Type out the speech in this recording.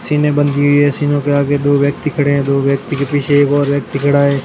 सीने बंधी हुई है सीनो के आगे दो व्यक्ति खड़े हैं दो व्यक्ति के पीछे एक और व्यक्ति खड़ा है।